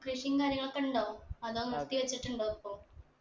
കൃഷിയും കാര്യങ്ങളൊക്കെ ഉണ്ടോ അതോ നിർത്തി വെച്ചിട്ടുണ്ടോ ഇപ്പൊ